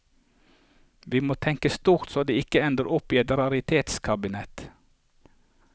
Vi må tenke stort så det ikke ender opp i et raritetskabinett.